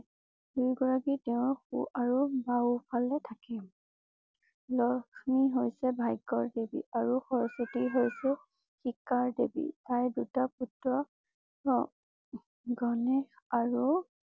দুই গৰাকী তেওঁ সো আৰু বাওঁ ফালে থাকে । লক্ষ্মী হৈছে ভাগ্যৰ দেৱী। আৰু সৰস্বতী হৈছে শিক্ষাৰ দেৱী। তাইৰ দুটা পুত্ৰঅ জনেশ আৰু